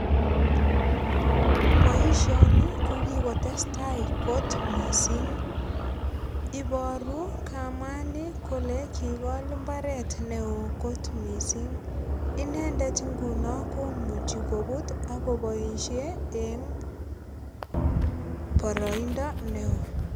Boisioni ko kikotestai kot mising. Iboru kamani kole kigol imbaret neo kot mising. Inendet inguno komuchi kobut ak koboisie eng boroindo neo.